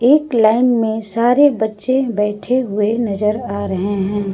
एक लाइन में सारे बच्चे बैठे हुए नजर आ रहे हैं।